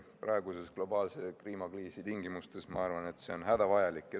Praeguse globaalse kliimakriisi tingimustes ma arvan, et see on hädavajalik.